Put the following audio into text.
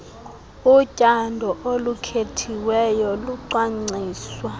utyando olukhethiweyo lucwangciswa